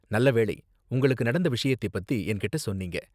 நல்ல வேளை உங்களுக்கு நடந்த விஷயத்தை பத்தி என்கிட்ட சொன்னீங்க.